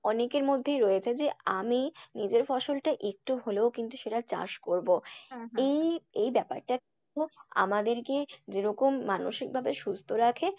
অনেকের মধ্যেই রয়েছে যে আমি নিজের ফসলটা একটু হলেও কিন্তু সেটা চাষ করবো, এই ব্যাপারটা খুব আমাদেরকে যেরকম মানসিকভাবে সুস্থ রাখে,